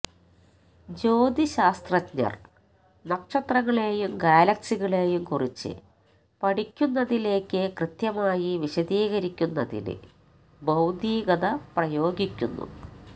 ജ്യോതിശാസ്ത്രജ്ഞർ നക്ഷത്രങ്ങളെയും ഗാലക്സികളെയും കുറിച്ച് പഠിക്കുന്നതിലേക്ക് കൃത്യമായി വിശദീകരിക്കുന്നതിന് ഭൌതികത പ്രയോഗിക്കുന്നു